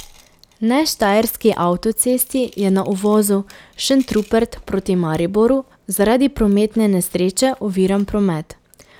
Ne štajerski avtocesti je na uvozu Šentrupert proti Mariboru zaradi prometne nesreče oviran promet.